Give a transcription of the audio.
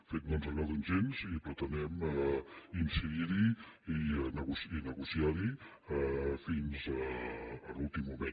de fet no ens agraden gens i pretenem incidir hi i negociar los fins a l’últim moment